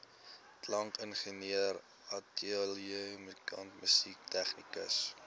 klankingenieur ateljeemusikant tegnikus